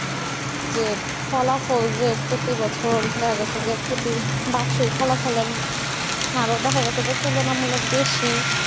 যে ফলাফল যে প্রতি বছর দেখা যাচ্ছে যে বার্ষিক ফলাফল হারে দেখা যাচ্ছে যে তুলনামূল্য বেশি